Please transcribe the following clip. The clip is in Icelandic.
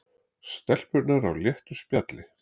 Stelpurnar á léttu spjalli